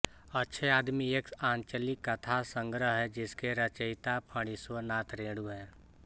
अच्छे आदमी एक आंचलिक कथासंग्रह है जिसके रचयिता फणीश्वर नाथ रेणु हैं